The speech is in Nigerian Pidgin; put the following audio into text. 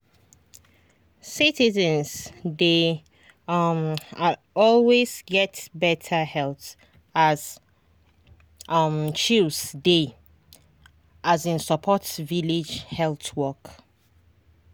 citizens dey um always get better health as um chws dey um support village health work.